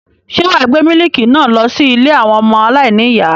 Ṣé wà á gbé mílíkì náà lọ sí ilé àwọn ọmọ aláìníìyá?